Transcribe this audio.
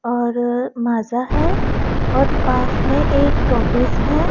और माझा है और पास में एक टॉफिस है।